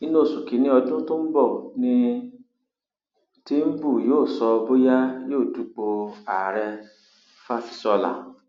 inú oṣù kìnínní ọdún tó ń bọ ní tìǹbù yóò sọ bóyá yóò dupò ààrẹfásisọlà